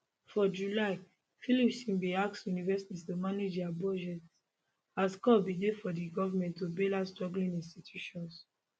for july phillipson bin ask universities to manage dia budgets as calls bin dey for di government to bail out struggling institutions